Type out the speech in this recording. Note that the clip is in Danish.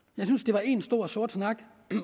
jeg synes det var en stor sort snak